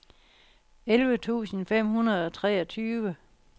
elleve tusind fem hundrede og treogtyve